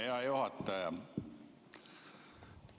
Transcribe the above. Hea juhataja!